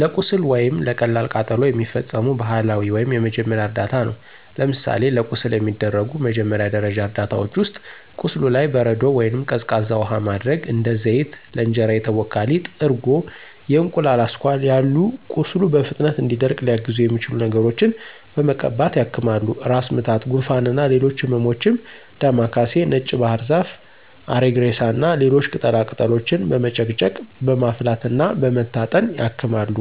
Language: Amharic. ለቁስል ወይም ለቀላል ቃጠሎ የሚፈጸሙ ባህላዊ ወይም የመጀመሪያ እርዳታ ነው። ለምሳሌ ለቁስል የሚደረጉ መጀመሪያ ደረጃ እርዳታዎች ውስጥ፦ ቁስሉ ላይ በረዶ ወይንም ቀዝቃዛ ውሃ ማድረግ፣ እንደ ዘይት፣ ለእንጀራ የተቦካ ሊጥ፣ እርጎ፣ የእንቁላል አስኳል ያሉ ቁስሉ በፍጥነት እንዲደርቅ ሊያግዙት የሚችሉ ነገሮችን በመቀባት ያክማሉ። ራስ ምታት፣ ጉንፋን እና ሌሎች ህመሞችም ዳማ ካሴ፣ ነጭ ባህርዛፍ፣ አሪግሬሳ እና ሌሎች ቅጠላ ቅጠሎችን በመጨቅጨቅ፣ በማፍላት እና በመታጠን ያክማሉ።